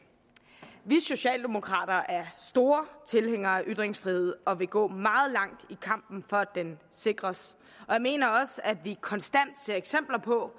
vi socialdemokrater er store tilhængere af ytringsfrihed og vil gå meget langt i kampen for at den sikres jeg mener også at vi konstant ser eksempler på